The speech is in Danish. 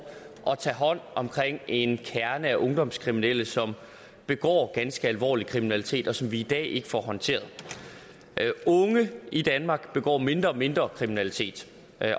at tage hånd om en kerne af ungdomskriminelle som begår ganske alvorlig kriminalitet og som vi i dag ikke får håndteret unge i danmark begår mindre og mindre kriminalitet